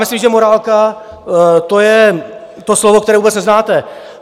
Myslím, že morálka, to je to slovo, které vůbec neznáte.